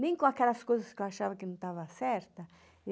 Nem com aquelas coisas que eu achava que não estava certa.